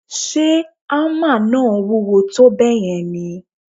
Ṣe hámà náà wúwo tó bẹ́ẹ̀ yẹn ni?